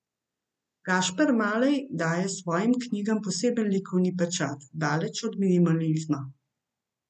Gašper Malej daje svojim knjigam poseben likovni pečat, daleč od minimalizma.